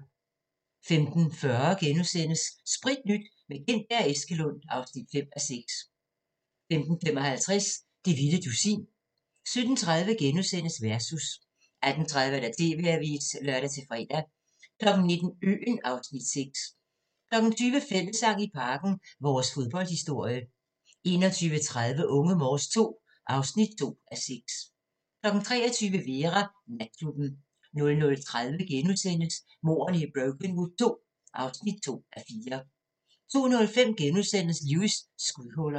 15:40: Spritnyt – med Gintberg og Eskelund (5:6)* 15:55: Det vilde dusin 17:30: Versus * 18:30: TV-avisen (lør-fre) 19:00: Øen (Afs. 6) 20:00: Fællessang i Parken - vores fodboldhistorie 21:30: Unge Morse II (2:6) 23:00: Vera: Natklubben 00:30: Mordene i Brokenwood II (2:4)* 02:05: Lewis: Skudhuller *